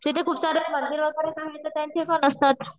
तिथे खूप सारे मंदिर वगैरे ते पण असतात,